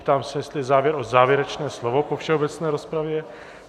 Ptám se, jestli je zájem o závěrečné slovo po všeobecné rozpravě.